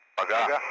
Paqa?